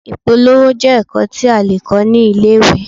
Ìpolówó jẹ́ ẹ̀kọ́ tí a lè kọ́ ní ilé-ìwé.